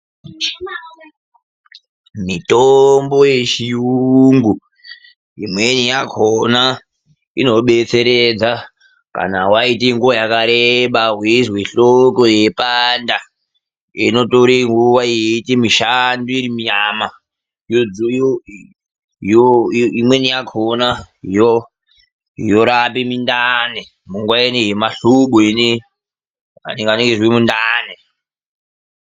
Mitombo yechiyungu, imweni yakhona inodetseredza kana waite nguwa yakareba weizwe hloko yeipanda. Inotora nguwa yeiita mushando iri munyama. Imweni yakhona yorapa mundani, munguwa ineyi yemahlobo iyeyi atitani kuzwe mundani.